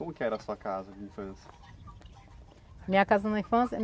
Como que era a sua casa de infância? Minha casa na infância